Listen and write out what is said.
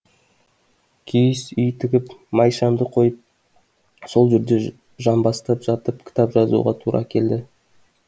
киіз үй тігіп май шамды қойып сол жерде жамбастап жатып кітап жазуға тура келді